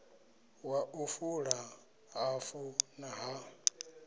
wa u fula hafu ha